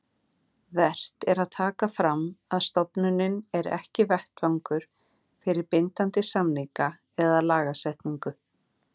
Vert er að taka fram að stofnunin er ekki vettvangur fyrir bindandi samninga eða lagasetningu.